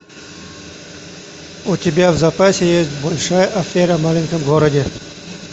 у тебя в запасе есть большая афера в маленьком городе